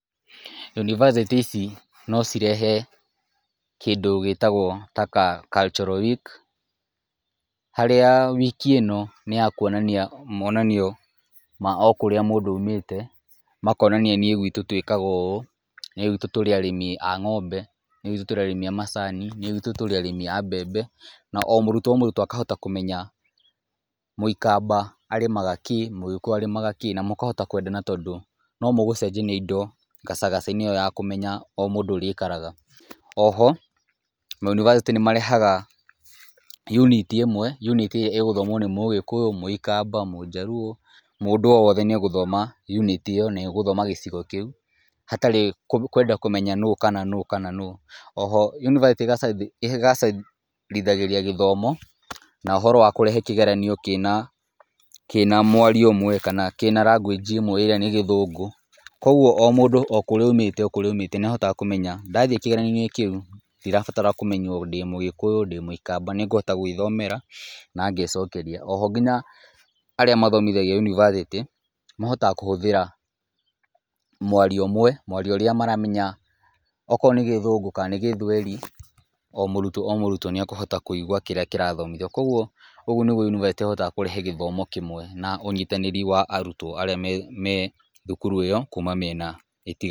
Yunibacĩtĩ ici no cirehe kĩndũ gĩtagwo ta cultural week , harĩa wiki ĩno nĩ ya kwonania monanio ma okũrĩa mũndũ aumĩte , makonania niĩ gwitũ twĩkaga ũũ , niĩ gwitũ tũrĩ arĩmi a ng´ombe , niĩ gwitũ tũrĩ arĩmi a macani , niĩ gwitũ tũrĩ arĩmi a mbembe, na o mũrutwo o mũrutwo akahota kũmenya mũikamba arĩmaga kĩ, mũgĩkũyũ arĩmaga kĩ, na mũkahota kwendana tondũ no mũgũcenjania indo gacagaca-inĩ kau ga kũmenya o mũndũ ũrĩa aikaraga, oho mayunibacĩtĩ nĩ marehaga unit ĩmwe, unit iria ĩgũthomwo nĩ mũgĩkũyũ ,mũikamba, mũjaluo, mũndũ o wothe nĩ egũthoma unit ĩyo, nĩ egũthoma gĩcigo kĩu hatarĩ na kwenda kũmenya nũ kana nũ kana nũ, oho yunibacĩtĩ ĩgacagĩria gĩthomo na ũhoro wa kũrehe kĩgeranio kĩna mwario ũmwe , kana kĩna [cs[ language ĩmwe ĩrĩa nĩ gĩthũngũ , kũgwo o mũndũ o kũrĩa aumĩte okũrĩa aumĩte nĩ ahotaga kũmenya ndathiĩ kĩgeranio-inĩ kĩu , ndĩrabatarwo kũmenywo ndĩ mũgĩkũyũ , ndĩmũikamba , nĩ ngũhota gwĩthomera na ngecokeria, oho nginya arĩa mathomithagia yunivacĩtĩ, mahotaga kũhũthĩra mwario ũmwe , mwario ũrĩa maramenya okorwo nĩ gĩthũngũ kana nĩ gĩthweri , o mũrutwo o mũrutwo nĩ akũhota kũigwa kĩrĩa kĩrathomitho, kũgwo ũgwo nĩgwo yunivacĩtĩ ĩhotaga kũrehe gĩthomo kĩmwe na ũnyitanĩri wa arutwo arĩa me thukuru ĩyo kuma mĩena itiganĩte.